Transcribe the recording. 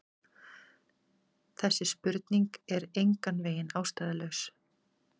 Þessi spurning er engan veginn ástæðulaus.